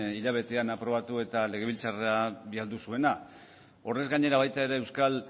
hilabetean aprobatu eta legebiltzarrera bidali zuena horrez gainera baita ere euskal